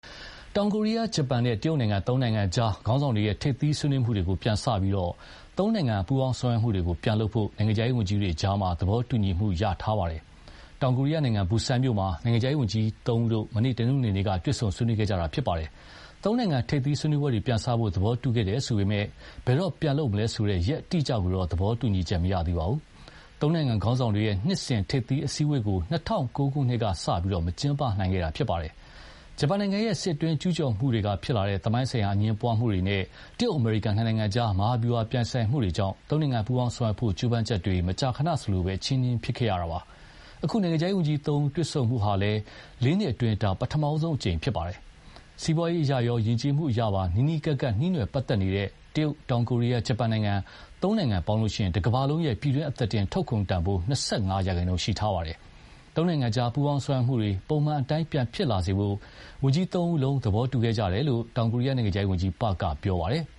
တောင်ကိုရီးယား၊ ဂျပန်နဲ့ တရုတ်နိုင်ငံ သုံးနိုင်ငံကြား ခေါင်းဆောင်တွေရဲ့ ထိပ်သီးဆွေးနွေးမှုတွေကို ပြန်စပြီး သုံးနိုင်ငံ ပူးပေါင်းဆောင်ရွက်မှုတွေပြန်လုပ်ဖို့ နိုင်ငံခြားရေးဝန်ကြီးတွေကြား သဘောတူညီချက်ရခဲ့ပါတယ်။ တောင်ကိုရီးယားနိုင်ငံ ဘူဆန်မြို့မှာ နိုင်ငံခြားရေးဝန်ကြီးတို့ မနေ့ တနင်္ဂနွေနေ့က တွေ့ဆုံဆွေးနွေးခဲ့ကြတာပါ။ သုံးနိုင်ငံ ထိပ်သီးဆွေးနွေးပွဲတွေ ပြန်စဖို့ သဘောတူခဲ့တယ်ဆိုပေမယ့်လည်း ဘယ်တော့ပြန်လုပ်မလဲဆိုတဲ့ ရက်အတိအကျကိုတော့ သဘောတူညီချက်မရသေးပါဘူး။ သုံးနိုင်ငံ ခေါင်းဆောင်တွေရဲ့ နှစ်စဉ်ထိပ်သီးအစည်းအဝေးကို ၂၀၀၉ ခုနှစ်ကစလို့ မကျင်းပနိုင်ခဲ့တာဖြစ်ပါတယ်။ ဂျပန်နိုင်ငံရဲ့ စစ်အတွင်းကျူးကျော်မှုကနေဖြစ်လာတဲ့ သမိုင်းဆိုင်ရာအငြင်းပွားမှုတွေနဲ့ တရုတ် အမေရိကန် နှစ်နိုင်ငံကြား မဟာဗျူဟာပြိုင်ဆိုင်မှုတွေကြောင့် သုံးနိုင်ငံပူးပေါင်းဆောင်ရွက်ဖို့ ကြိုးပမ်းချက်တွေ မကြာခဏ အချည်းနှီးဖြစ်ခဲ့ရတာပါ။ အခု နိုင်ငံခြားရေးဝန်ကြီးသုံးဦးတွေ့ဆုံမှုဟာလည်း လေးနှစ်အတွင်းမှာ ဒါ ပထမဆုံးအကြိမ်ပါ။ စီးပွားရေးအရရော ယဉ်ကျေးမှုအရပါ နီးနီးကပ်ကပ် နှီးနွယ်ပတ်သက်နေတဲ့ တရုတ်၊ တောင်ကိုရီးယားနဲ့ ဂျပန် သုံးနိုင်ငံပေါင်းရင် တကမ္ဘာလုံးရဲ့ ပြည်တွင်းအသားတင်ထုတ်ကုန်တန်ဖိုး ၂၅ ရာခိုင်နှုန်းရှိထားပါတယ်။ သုံးနိုင်ငံကြားပူး ပေါင်းဆောင်ရွက်မှုတွေ ပုံမှန်အတိုင်းပြန်ဖြစ်လာစေဖို့ ဝန်ကြီးသုံးဦးလုံး သဘောတူခဲ့ကြတယ်လို့ တောင်ကိုရီးယား နိုင်ငံခြားရေးဝန်ကြီး Park က ပြောပါတယ်။